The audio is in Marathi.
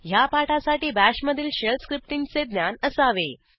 ह्या पाठासाठी BASHमधील शेल स्क्रिप्टींगचे ज्ञान असावे